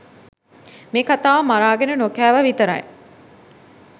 මේ කතාව මරාගෙන නොකෑවා විතරයි.